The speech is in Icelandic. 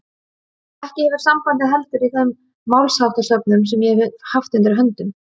Ekki hefur sambandið heldur í þeim málsháttasöfnum sem ég hef haft undir höndum.